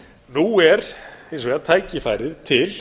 nú er hins vegar tækifæri til